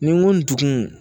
Nin n ko n dugun